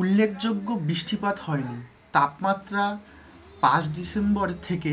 উল্লেখযোগ্য বৃষ্টিপাত হয়নি তাপমাত্রা পাঁচ december থেকে